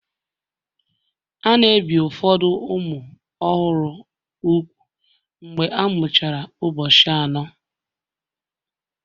A na-ebi ụfọdụ ụmụ ọhụrụ úgwù mgbe a mụchara ụbọchị anọ